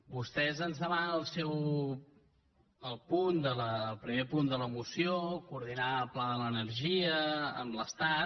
vostès ens demanen en el seu primer punt de la moció coordinar el pla de l’energia amb l’estat